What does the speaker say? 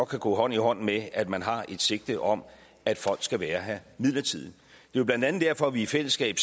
kan gå hånd i hånd med at man har et sigte om at folk skal være her midlertidigt det er blandt andet derfor vi i fællesskab